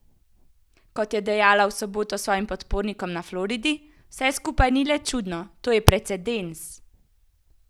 Kot je dejala v soboto svojim podpornikom na Floridi: "Vse skupaj ni le čudno, to je precedens.